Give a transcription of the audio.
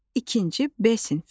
İkinci B sinfi.